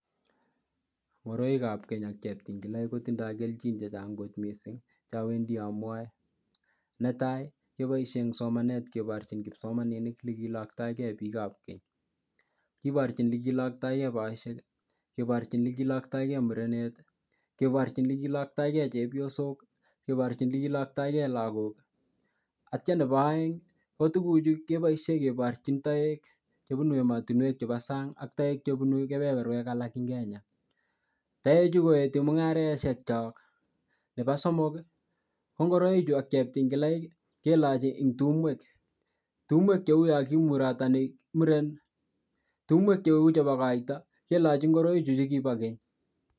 Ngoroikab keny ang cheptingilaik kotindoi kelchin chechang kot mising chawendi amwoe netai keboishe eng somanet keborchin kipsomaninik tukiekiiloktoigei piikab keny kiborchin tukiekiiloktoigei boisek keborchin ole kiiloktoigei murenet keborchin ole kiiloktoigei chepyosok keborchin ole kiiloktoigei lakok atio nebo oeng ko tukuchu keboishe keborchin toek chebunu emotinwek chebo sang ak toenk chebunu kepeperwek alak eng Kenya toechu koetu mung'areshek cho nebo somok ko ngoroik chu ak cheptingilaik kelochi eng tumwek tumwek cheu yo kimurstani murun tumwek cheu koito kelochi ngoroi chu chekibo keny.